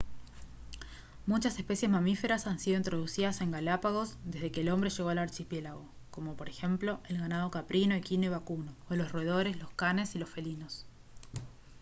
muchas especies mamíferas han sido introducidas en galápagos desde que el hombre llegó al archipiélago como por ejemplo el ganado caprino equino y vacuno o los roedores lo canes y los felinos